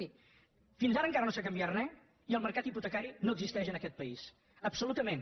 mirin fins ara encara no s’ha canviat res i el mercat hipotecari no existeix en aquest país absolutament